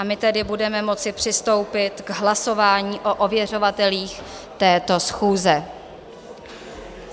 A my tedy budeme moci přistoupit k hlasování o ověřovatelích této schůze.